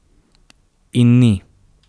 In ni.